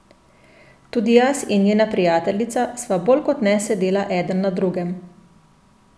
Tudi jaz in njena prijateljica sva bolj kot ne sedela eden na drugem.